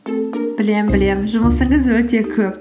білемін білемін жұмысыңыз өте көп